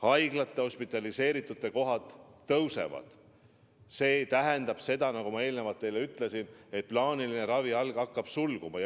Haigete hospitaliseerimise näitajad tõusevad ja see tähendab seda, nagu ma juba ütlesin, et plaaniline ravi hakkab sulguma.